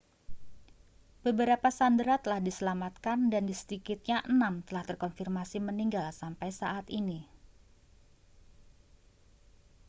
beberapa sandera telah diselamatkan dan sedikitnya enam telah terkonfirmasi meninggal sampai saat ini